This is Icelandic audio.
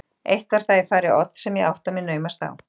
Eitt var það í fari Odds sem ég átta mig naumast á.